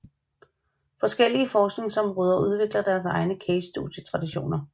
Forskellige forskningsområder udvikler deres egne casestudietraditioner